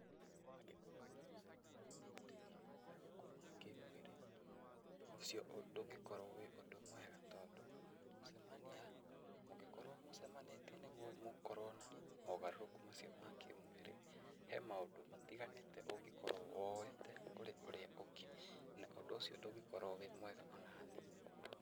Angĩkorwo nĩ mũcamanio ũhutĩtie mogarũrũku ma kĩmwĩrĩ, ũndũ ũcio ndũngĩkorwo wĩ ũndũ mwega tondũ gũcemania, mũngĩkorwo mũcemanĩtie nĩguo mũkorwo na mogarũrũku macio ma kĩmwĩrĩ, he maũndũ matiganĩte ũngĩkorwo woete kũrĩ ũrĩa ũngĩ na ũndũ ũcio ndũngĩkorwo wĩ mwega o na hanini.